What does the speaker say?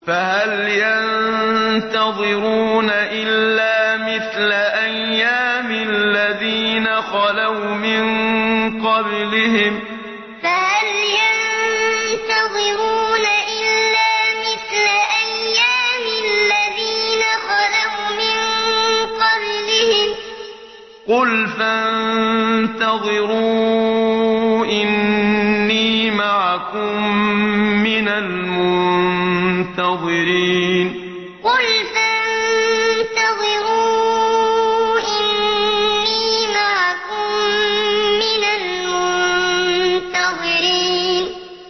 فَهَلْ يَنتَظِرُونَ إِلَّا مِثْلَ أَيَّامِ الَّذِينَ خَلَوْا مِن قَبْلِهِمْ ۚ قُلْ فَانتَظِرُوا إِنِّي مَعَكُم مِّنَ الْمُنتَظِرِينَ فَهَلْ يَنتَظِرُونَ إِلَّا مِثْلَ أَيَّامِ الَّذِينَ خَلَوْا مِن قَبْلِهِمْ ۚ قُلْ فَانتَظِرُوا إِنِّي مَعَكُم مِّنَ الْمُنتَظِرِينَ